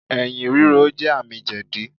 Ẹ̀̀yìn rírò jẹ́ àmì jẹ̀dí.